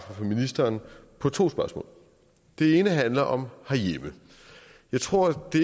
fra ministeren på to spørgsmål det ene handler om herhjemme jeg tror